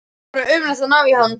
Það er bara ómögulegt að ná í hann.